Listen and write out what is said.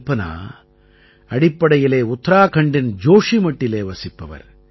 கல்பனா அடிப்படையிலே உத்தராகண்டின் ஜோஷீமட்டிலே வசிப்பவர்